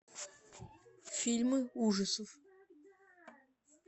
фильмы ужасов